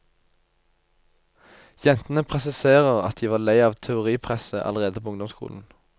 Jentene presiserer at de var lei av teoripresset allerede på ungdomsskolen.